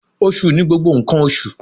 Osu ni gbogbo nkan oṣu